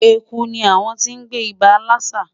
Eku ni awon ti n gbe iba lassa